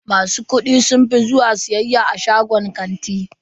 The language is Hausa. Masu kuɗi sun fi zuwa siyayya a shagunan kanti.